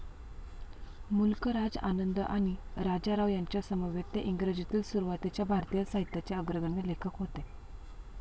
मुल्क राज आनंद आणि राजा राव यांच्यासमवेत ते इंग्रजीतील सुरुवातीच्या भारतीय साहित्याचे अग्रगण्य लेखक होते.